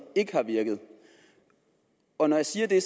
ikke har virket og jeg siger det